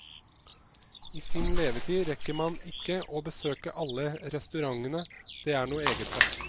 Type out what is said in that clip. I sin levetid rekker man ikke å besøke alle restaurantene det er noe eget ved.